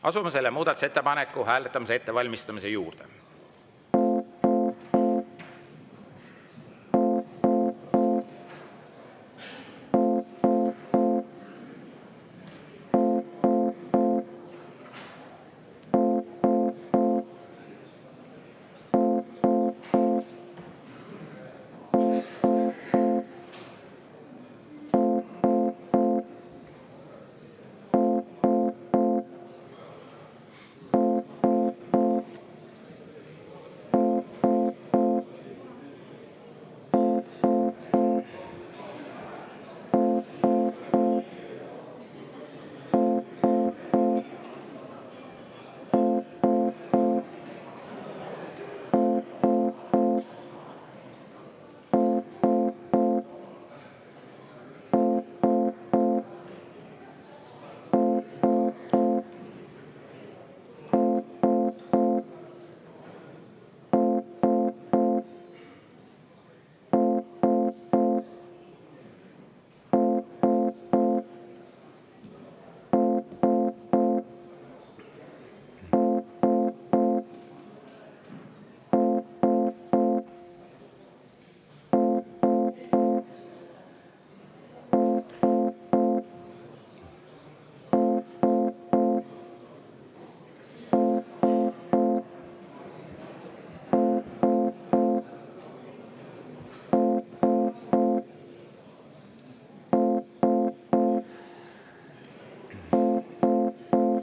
Asume selle muudatusettepaneku hääletamise ettevalmistamise juurde.